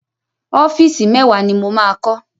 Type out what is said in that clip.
Ọ́fíìsì mẹ́wàá ni mo máa kọ́.